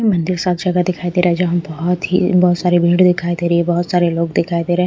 और मंदिर साथ जगह दिखाई दे रहा है जहां बहुत ही बहुत सारी भीड़ दिखाई दे रही है बहुत सारे लोग दिखाई दे रहे हैं।